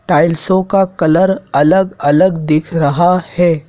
टाइल्सो का कलर अलग अलग दिख रहा है।